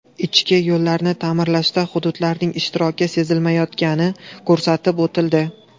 Ichki yo‘llarni ta’mirlashda hududlarning ishtiroki sezilmayotgani ko‘rsatib o‘tildi.